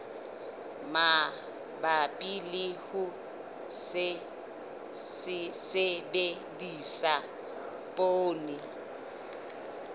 mabapi le ho sebedisa poone